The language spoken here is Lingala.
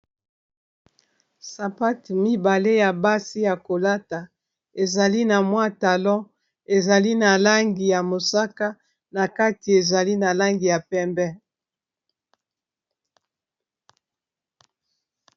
Sapatu mibale ya basi ya ko lata, ezali na mwa talon, ezali na langi ya mosaka, na kati ezali na langi ya pembe .